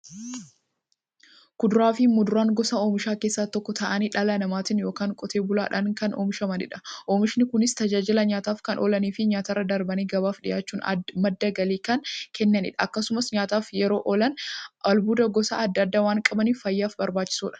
Kuduraafi muduraan gosa oomishaa keessaa tokko ta'anii, dhala namaatin yookiin Qotee bulaadhan kan oomishamaniidha. Oomishni Kunis, tajaajila nyaataf kan oolaniifi nyaatarra darbanii gabaaf dhiyaachuun madda galii kan kennaniidha. Akkasumas nyaataf yeroo oolan, albuuda gosa adda addaa waan qabaniif, fayyaaf barbaachisoodha.